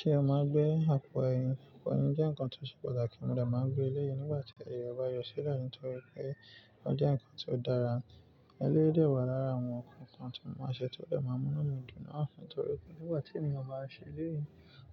Ṣé o máa gbé àpò ẹ̀yìn? Ìpò ẹ̀yìn jẹ́ nǹkan tó ṣe pàtàkì. Mo de máa gbé eléyìí nígbà tí ẹyọ ba yọ sílẹ̀ nítorí pé ó jẹ́ nǹkan tó dára. Eléyìí dà wà lára àwọn nǹkan kan tí mo máa ṣe ti ọ̀ de máa mú inú mì dún náà nítorí nígbà tí èèyàn bá ṣe eléyìí,